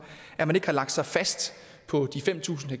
at man ikke har lagt sig fast på de fem tusind